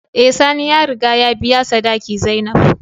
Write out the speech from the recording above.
Eh sani ya riga ya biya sadaki zainab.